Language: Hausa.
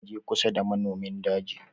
Karka je kusa da namomin daji.